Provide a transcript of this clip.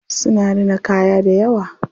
Suna rina kaya dayawa.